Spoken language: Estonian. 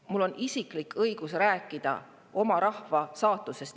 Mul on isiklik õigus rääkida oma rahva saatusest.